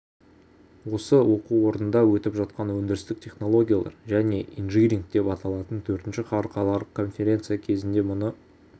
осы оқу орнында өтіп жатқан өндірістік технологиялар және инжиниринг деп аталған төртінші халықаралық конференция кезінде мұны